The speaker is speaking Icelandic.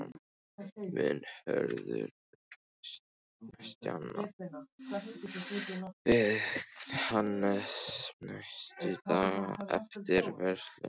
Mun Hörður stjana við Hannes næstu dagana eftir vörsluna?